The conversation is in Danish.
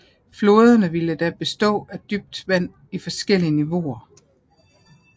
Floderne ville da bestå af dybt vand i forskellige niveauer